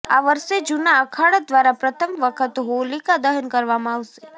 આ વર્ષે જૂના અખાડા દ્વારા પ્રથમ વખત હોલીકા દહન કરવામાં આવશે